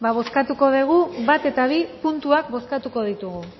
bale hori da ba bozkatuko dugu bat eta bi puntuak